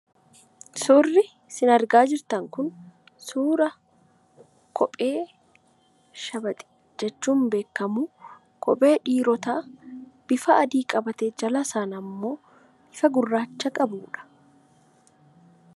Suurri isin argaa jirtan kun suura kophee 'Shabax' jechuun beekamu ,kophee dhiirotaa bifa adii qabatee jalasaan ammoo bifa gurraacha qabuudha.